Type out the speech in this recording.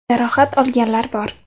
Jarohat olganlar bor.